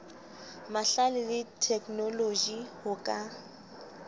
mahlale le theknoloji ho ka